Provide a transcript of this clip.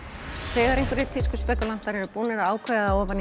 þegar einhverjir tískuspekúlantar eru búnir að ákveða